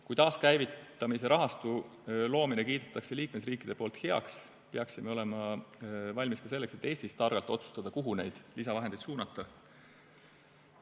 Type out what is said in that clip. Kui taaskäivitamise rahastu loomise kiidavad liikmesriigid heaks, peaksime olema valmis ka selleks, et Eestis targalt otsustada, kuhu neid lisavahendeid suunata.